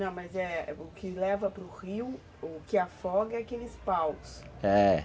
Não, mas é o que leva para o rio, o que afoga é aqueles paus, é.